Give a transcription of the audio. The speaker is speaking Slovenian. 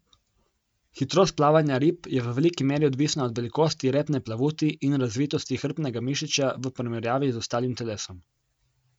Hitrost plavanja rib je v veliki meri odvisna od velikosti repne plavuti in razvitosti hrbtnega mišičja v primerjavi z ostalim telesom.